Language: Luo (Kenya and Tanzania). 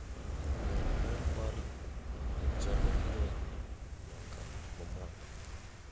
med ler mar chandelier nyaka ma malo